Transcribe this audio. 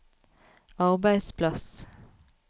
arbeidsplass